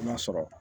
I b'a sɔrɔ